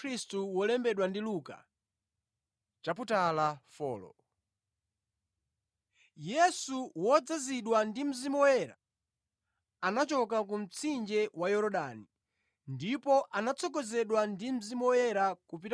Yesu, wodzazidwa ndi Mzimu Woyera, anachoka ku mtsinje wa Yorodani ndipo anatsogozedwa ndi Mzimu Woyerayo kupita ku chipululu,